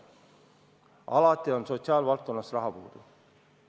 Alati on sotsiaalvaldkonnas raha puudu.